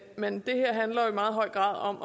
men det her handler i meget høj grad om